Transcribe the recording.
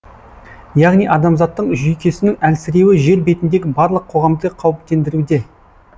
яғни адамзаттың жүйкесінің әлсіреуі жер бетіндегі барлық қоғамды қауіптендіруде